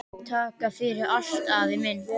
Takk fyrir allt, afi minn.